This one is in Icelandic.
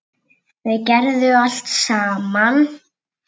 Þau gerðu allt saman.